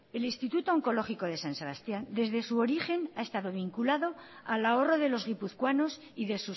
el instituto oncológico de san sebastián desde su origen ha estado vinculado al ahorro de los guipuzcoanos y de